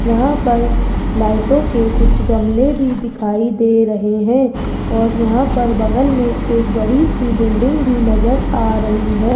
यहां पर लाइटों के कुछ गमले भी दिखाई दे रहे हैं और यहां पर बगल में एक बड़ी सी बिल्डिंग भी नजर आ रही है।